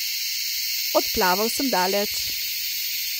Odplaval sem daleč.